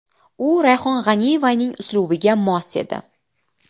U Rayhon G‘aniyevaning uslubiga mos edi.